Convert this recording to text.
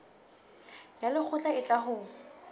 ya lekgotla e tla ho